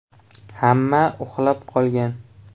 Hamma uxlab qolgan.